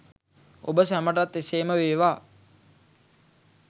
ඔබ සැමටත් එසේම වේවා!